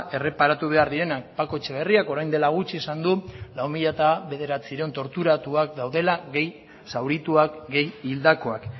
erreparatu behar direnak paco etxeberriak orain dela gutxi esan du lau mila bederatziehun torturatuak daudela gehi zaurituak gehi hildakoak